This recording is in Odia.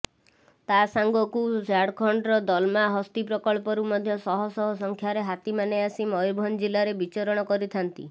ତା ସାଙ୍ଗକୁ ଝାଡ଼ଖଣ୍ଡର ଦଲମା ହସ୍ତୀପ୍ରକଳ୍ପରୁ ମଧ୍ୟ ଶହଶହ ସଂଖ୍ୟାରେ ହାତୀମାନେ ଆସି ମୟୂରଭଞ୍ଜ ଜିଲ୍ଲାରେ ବିଚରଣ କରିଥାନ୍ତି